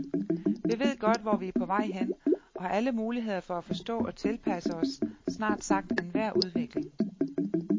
Vi ved godt, hvor vi er på vej hen, og har alle muligheder for at forstå og tilpasse os snart sagt enhver udvikling.